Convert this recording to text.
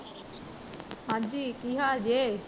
ਹਾਂਜੀ ਕੀ ਹਾਲ ਜੇ?